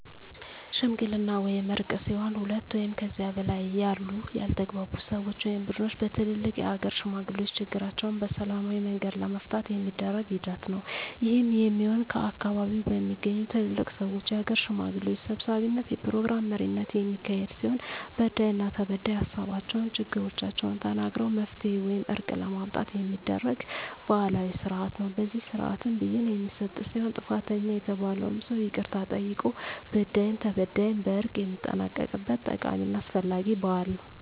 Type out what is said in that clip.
ሽምግልና ወይም እርቅ ሲሆን ሁለት ወይም ከዚያ በላይ ያሉ ያልተግባቡ ሰወች ወይም ቡድኖች በትልልቅ የሀገር ሽማግሌዎች ችግራቸዉን በሰላማዊ መንገድ ለመፍታት የሚደረግ ሂደት ነዉ። ይህም የሚሆን ከአካባቢዉ በሚገኙ ትልልቅ ሰወች(የሀገር ሽማግሌዎች) ሰብሳቢነት(የፕሮግራም መሪነት) የሚካሄድ ሲሆን በዳይና ተበዳይ ሀሳባቸዉን(ችግሮቻቸዉን) ተናግረዉ መፍትሄ ወይም እርቅ ለማምጣት የሚደረግ ባህላዊ ስርአት ነዉ። በዚህ ስርአትም ብይን የሚሰጥ ሲሆን ጥፋተኛ የተባለዉም ሰዉ ይቅርታ ጠይቆ በዳይም ተበዳይም በእርቅ የሚጠናቀቅበት ጠቃሚና አስፈላጊ ባህል ነዉ።